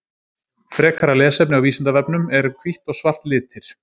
Frekara lesefni á Vísindavefnum: Eru hvítt og svart litir?